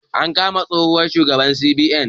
An kama tsohon shugaban CBN